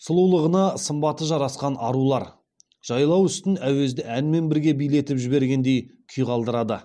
сұлулығына сымбаты жарасқан арулар жайлау үстін әуезді әнмен бірге билетіп жібергендей күй қалдырады